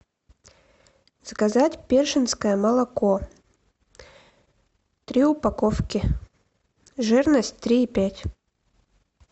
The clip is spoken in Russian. заказать першинское молоко три упаковки жирность три и пять